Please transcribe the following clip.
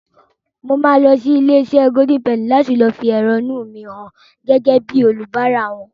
Mo máa lọ sí ilé-iṣẹ́ Golden Penny láti fi èrónú mi hàn gẹ́gẹ́ bíi oníbàárà wọn.